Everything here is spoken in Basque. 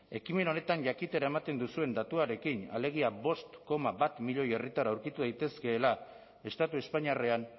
ekimen honetan jakitera ematen duzuen datuarekin alegia bost koma bat milioi herritar aurkitu daitezkeela estatu espainiarrean